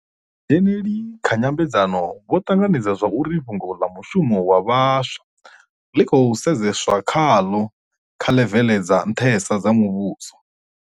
Vhadzheneli kha nyambedzano vho ṱanganedza zwa uri fhungo ḽa mushumo wa vhaswa ḽi khou sedzeswa khaḽo kha ḽevele dza nṱhesa dza muvhuso.